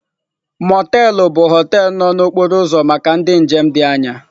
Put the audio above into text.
họteelụ bụ họteelụ na okporo ụzọ maka ndị njem dị anya.